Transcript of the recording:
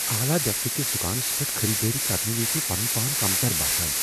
اعلی درجہٕ کِس دکانس پیٹھ خریدٲری کرنہٕ وز پان کمتر باسان ۔